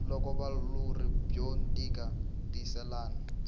loko vulawuri byo nyika tilayisense